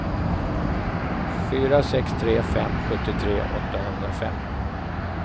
fyra sex tre fem sjuttiotre åttahundrafem